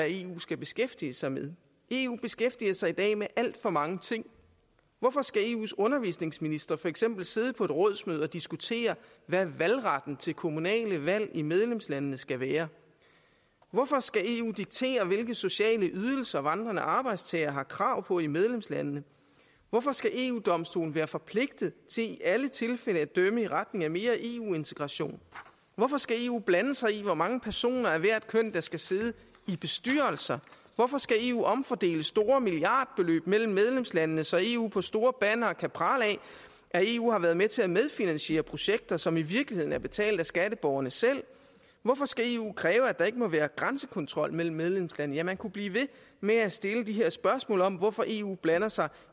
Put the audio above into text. eu skal beskæftige sig med eu beskæftiger sig i dag med alt for mange ting hvorfor skal eus undervisningsministre for eksempel sidde på et rådsmøde og diskutere hvad valgretten til kommunale valg i medlemslandene skal være hvorfor skal eu diktere hvilke sociale ydelser vandrende arbejdstagere har krav på i medlemslandene hvorfor skal eu domstolen være forpligtet til i alle tilfælde at dømme i retning af mere eu integration hvorfor skal eu blande sig i hvor mange personer af hvert køn der skal sidde i bestyrelser hvorfor skal eu omfordele store milliardbeløb mellem medlemslandene så eu på store bannere kan prale af at eu har været med til at medfinansiere projekter som i virkeligheden er betalt af skatteborgerne selv hvorfor skal eu kræve at der ikke må være grænsekontrol mellem medlemslandene ja man kunne blive ved med at stille de her spørgsmål om hvorfor eu blander sig